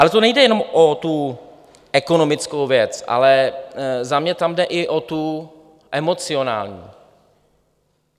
Ale to nejde jenom o tu ekonomickou věc, ale za mě tam jde i o tu emocionální.